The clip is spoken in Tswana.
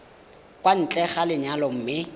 kwa ntle ga lenyalo mme